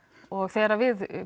og þegar við